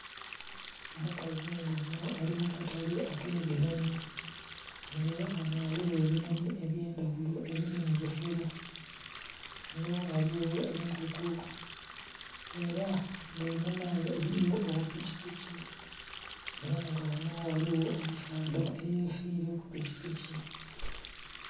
Omukazi nga onho ali mukatale ake binhoni nga era ghano ghaligho ebinhonhi ebye ndhaghulo ebili mu busero, ghano ghaligho enkoko era nga einhuma ghe eriyo obu pikipiki era nga ghanho ghaligho omusaadha eyesiile ku pikipiki.